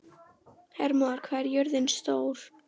Hermóður, hvað er jörðin stór?